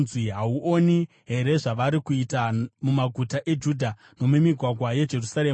Hauoni here zvavari kuita mumaguta eJudha nomumigwagwa yeJerusarema?